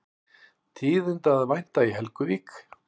Tíðinda að vænta í Helguvík